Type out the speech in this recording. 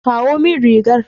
Kawo min rigar.